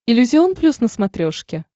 иллюзион плюс на смотрешке